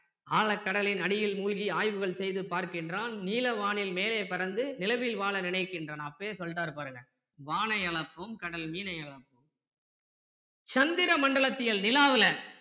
ஆழக் கடலின் அடியில் மூழ்கி ஆய்வுகள் செய்து பார்க்கின்றான் நீல வானின் மேலே பறந்து நிலவில் வாழ நினைக்கின்றான் அப்பயே சொல்லிட்டாரு பாருங்க வானை அள்ப்போம் கடல் மீனை அள்ப்போம் சந்திர மண்டலத்தியல் நிலாவுல